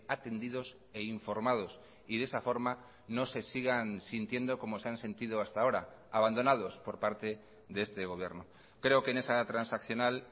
atendidos e informados y de esa forma no se sigan sintiendo como se han sentido hasta ahora abandonados por parte de este gobierno creo que en esa transaccional